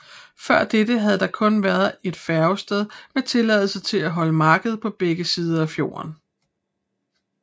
Før dette havde der kun været et færgested med tilladelse til at holde marked på begge sider af fjorden